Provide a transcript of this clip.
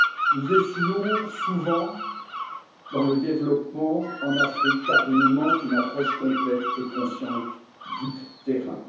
Nous échouons souvent dans le développement en Afrique, car il nous manque une approche complète et consciente du terrain.